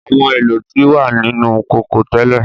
Àwọn èlò ti wa nínu kókó tẹ́lẹ̀.